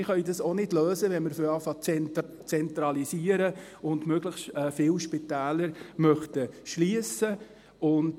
Wir können dies auch nicht lösen, wenn wir beginnen, zu zentralisieren, und möglichst viele Spitäler schliessen möchten.